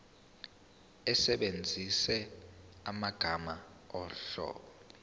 usebenzise amagama omlobi